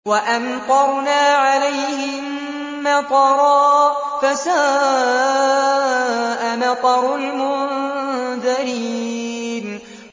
وَأَمْطَرْنَا عَلَيْهِم مَّطَرًا ۖ فَسَاءَ مَطَرُ الْمُنذَرِينَ